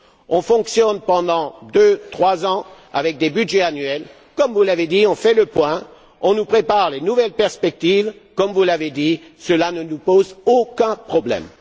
On fonctionne pendant deux ou trois ans avec des budgets annuels, comme vous l'avez dit, on fait le point, on nous prépare les nouvelles perspectives, comme vous l'avez dit, cela ne nous pose aucun problème.